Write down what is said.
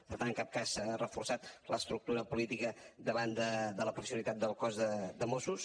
per tant en cap cas s’ha reforçat l’estructura política davant de la professionalitat del cos de mossos